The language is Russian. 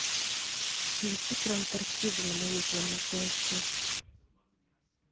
включи про антарктиду на моей планете аш ди